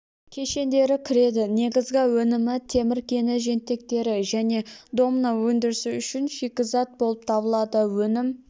кешендері кіреді негізгі өнімі темір кені жентектері және домна өндірісі үшін шикізат болып табылады өнім